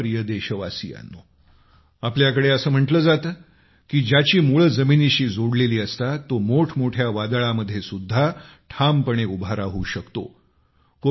माझ्या प्रिय देशवासीयांनो आपल्याकडे असे म्हटले जाते की ज्याची मुळे जमिनीशी जोडलेली असतात तो मोठमोठ्या वादळामध्ये सुद्धा ठामपणे उभा राहू शकतो